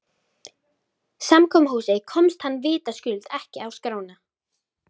Samkomuhúsið komst hann vitaskuld ekki á skrána.